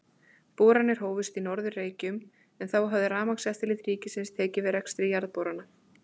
Boranir hófust á Norður-Reykjum, en þá hafði Rafmagnseftirlit ríkisins tekið við rekstri jarðborana.